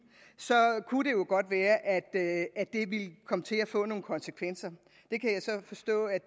så kunne det jo godt være at det ville komme til at få nogle konsekvenser det kan jeg så forstå at